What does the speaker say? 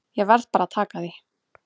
Ég verð bara að taka því.